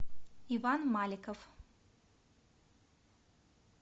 иван маликов